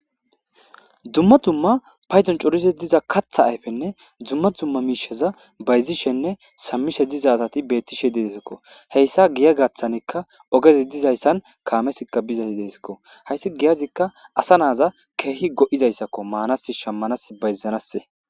Dumma dumma payidon coriza diza kata ayippenne dumma dumma misha bayizshenne shamishe diza asati betishe desikoo heyisa giya gatanika ogezi dizayisan kamezika bezayisesikko hayisi giyazika asa naza kehi goizzayisakko manas shamanas bayizanas.